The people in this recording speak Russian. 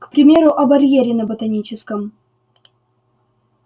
к примеру о барьере на ботаническом